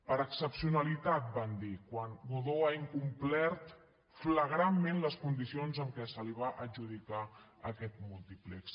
per excepcionalitat van dir quan godó ha incomplert flagrantment les condicions amb què se li va adjudicar aquest múltiplex